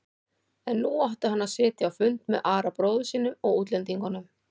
En nú átti hann að sitja fund með Ara bróður sínum og útlendingunum.